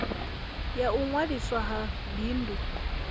ya u ṅwaliswa ha bindu